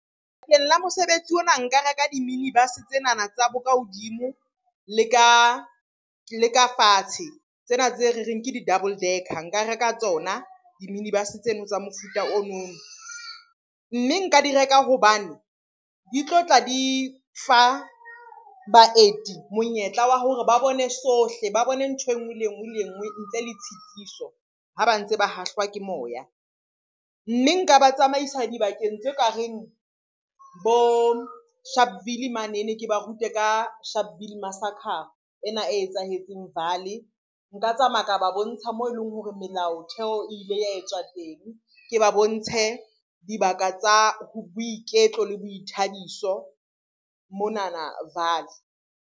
Bakeng la mosebetsi ona nka reka di-minibus-e tsenana tsa bo ka hodimo le ka fatshe. Tsena tse re reng ke di-double darker, nka reka tsona di-minibus-e tseno tsa mofuta onono. Mme nka di reka hobane di tlo tla di fa baeti monyetla wa hore ba bone sohle, ba bone ntho enngwe le enngwe le enngwe ntle le tshitiso ha ba ntse ba hahlwa ke moya. Mme nka ba tsamaisa dibakeng tse ka reng bo Sharpville manene, ke ba rute ka Sharpville ena e etsahetseng Vaal-e. Nka tsamaya ka ba bontsha moo eleng hore melaotheo e ile ya etswa teng, ke ba bontshe dibaka tsa boiketlo le boithabiso monana Vaal-e.